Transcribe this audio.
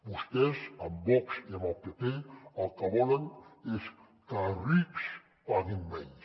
vostès amb vox i amb el pp el que volen és que els rics paguin menys